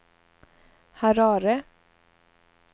Harare